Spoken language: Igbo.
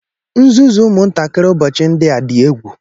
nzuzu ụmụntakịrị ụbọchị ndị a dị egwu